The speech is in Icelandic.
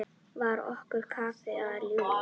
Var okkar kafla að ljúka?